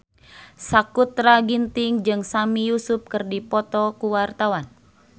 Sakutra Ginting jeung Sami Yusuf keur dipoto ku wartawan